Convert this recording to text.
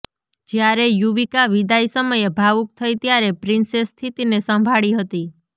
જ્યારે યુવિકા વિદાય સમયે ભાવુક થઈ ત્યારે પ્રિન્સે સ્થિતિને સંભાળી હતી